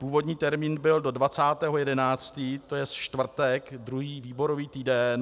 Původní termín byl do 20. 11., to je čtvrtek druhý výborový týden.